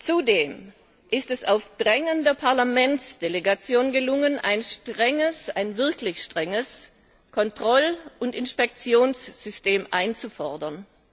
Zudem ist es auf Drängen der Parlamentsdelegation gelungen, ein wirklich strenges Kontroll und Inspektionssystem einzufordern.